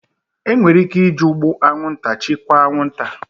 Enwere ike iji ụgbụ anwụnta chịkwaa anwụnta